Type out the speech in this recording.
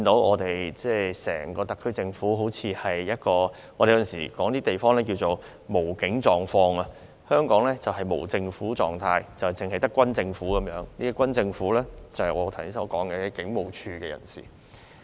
我們有時候會說一些地方正處於"無警狀況"，而香港就是處於"無政府狀態"，是只有軍政府的，而所謂軍政府，就是指我剛才提到的警務處人士。